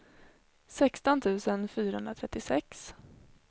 sexton tusen fyrahundratrettiosex